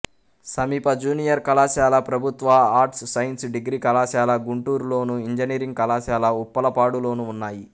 సమీప జూనియర్ కళాశాల ప్రభుత్వ ఆర్ట్స్ సైన్స్ డిగ్రీ కళాశాల గుంటూరులోను ఇంజనీరింగ్ కళాశాల ఉప్పలపాడులోనూ ఉన్నాయి